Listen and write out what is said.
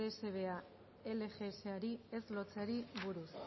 dsbea lgsari ez lotzeari buruz